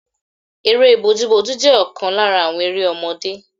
Eré bójú bójú jẹ́ ọ̀kan lára àwọn eré ọmọdé.